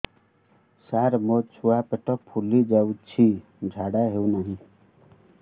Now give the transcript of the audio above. ସାର ମୋ ଛୁଆ ପେଟ ଫୁଲି ଯାଉଛି ଝାଡ଼ା ହେଉନାହିଁ